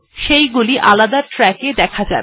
সেগুলি আলাদা ট্র্যাক এ দেখা যাবে